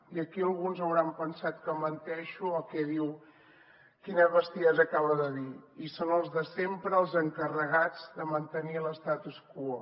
i aquí alguns deuen haver pensat que menteixo o què diu quina bestiesa acaba de dir i són els de sempre els encarregats de mantenir l’statu quo